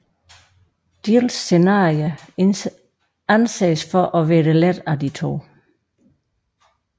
Jills scenarie anses for at være det lette af de to